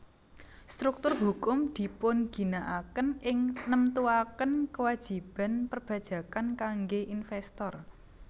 Struktur hukum dipunginaaken ing nemtuaken kewajiban perpajakan kangge investor